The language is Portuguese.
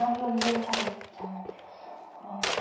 Aí eu olhei e falei, eita meu Deus, oh.